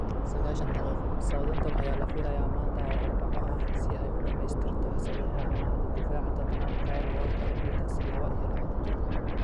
(Sagashan daqiqo) Southampton ayaa la filayaa maanta oo Arbaco ah si ay u dhamaystirto saxiixa amaahda daafaca Tottenham Kyle Walker-Peters, labo iyo labatan jir.